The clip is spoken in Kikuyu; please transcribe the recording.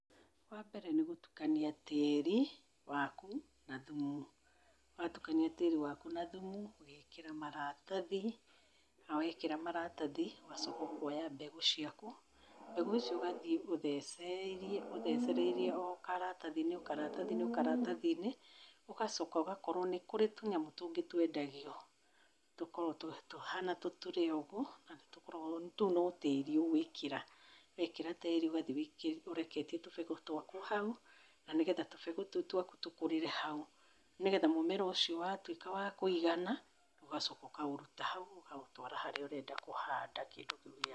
Wa mbere nĩ gũtukania tĩri waku na thumu, watukania tĩri waku na thumu ũgekĩra maratathi, na wekĩra maratathi ũgacoka ũkoya mbegũ ciaku, mbegũ icio ũgathiĩ ũthecereirie ũthecereirie o karatathi-inĩ, karatathi-inĩ, karatathi-inĩ, ũgacoka ũgakorwo, nĩ kũrĩ tũnyamũ tũngĩ twendagio tũkoragwo tũhana tũturee ũgwo na tũkoragwo, tũu no tĩri ũguĩkĩra. Wekĩra tĩri ũgathiĩ ũreketie tũbegũ twaku hau na nĩgetha tũbegũ tũu twaku tũkũrĩre hau, nĩgetha mũmera ũcio watuĩka wa kũigana, ũgacoka ũkaũruta hau ũkaũtwara harĩa ũrenda kũhanda kĩndũ kĩu gĩaku.